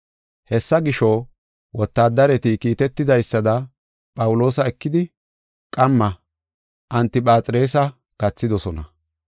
Hessa gisho, wotaadareti kiitetidaysada Phawuloosa ekidi, qamma Antiphaxirisa gathidosona.